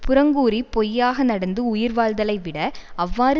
புறங்கூறி பொய்யாக நடந்து உயிர் வாழ்தலை விட அவ்வாறு